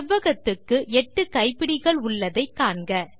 செவ்வகத்துக்கு எட்டு கைப்பிடிகள் உள்ளதை காண்க